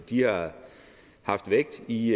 de har haft vægt i